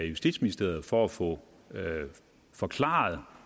justitsministeriet for at få forklaret